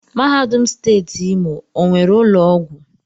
Mahadum Steeti Imo onwere ụlọ ọgwụ?